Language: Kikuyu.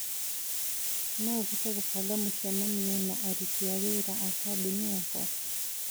No ũhote kũbanga mũcemanio na aruti a wĩra a kambuni yakwa.